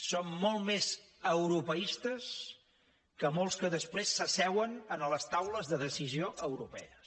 som molt més europeistes que molts que després s’asseuen a les taules de decisió europees